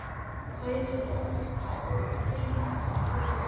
Hæfir hringhreyfing jörðu?